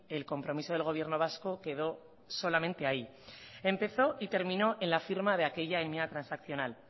el compromiso del gobierno vasco quedó solamente ahí empezó y terminó en la firma de aquella enmienda transaccional